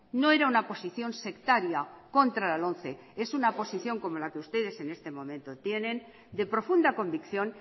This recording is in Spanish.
no era una posición sectaria contra la lomce es una posición como la que ustedes en este momento tienen de profunda convicción